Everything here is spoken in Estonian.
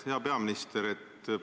Hea peaminister!